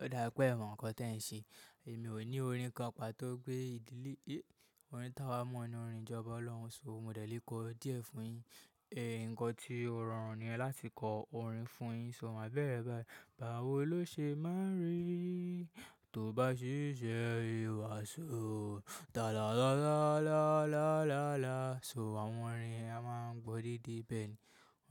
Ó dá pé è mọ̀ nǹkan tí ẹ ń ṣe. Èmi ò ní orin kan pàtó gbé ìdílé, orin táa wa mọ̀ ní orin ìjọba Ọlọ́run, so mo dẹ̀ lé kọ díẹ̀ fún yín. Ẹ̀ nǹkan tí ó rọrùn nìyẹn láti kọ orin fún yín, so mà bẹ́rẹ̀ bá yi. Bàá wo ló ṣe máa ń ri, tó bá ṣiṣẹ́ ìhùwàsó. Talala-la-la-la-la-la. So àwọn orin a máa ń gbọ́ dédé bẹ́ẹ̀ ni.